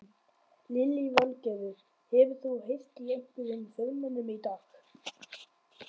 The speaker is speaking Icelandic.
Lillý Valgerður: Hefur þú heyrt í einhverjum formönnum í dag?